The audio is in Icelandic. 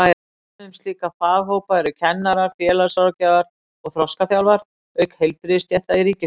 Dæmi um slíka faghópa eru kennarar, félagsráðgjafar og þroskaþjálfar, auk heilbrigðisstétta í ríkisþjónustu.